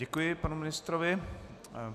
Děkuji panu ministrovi.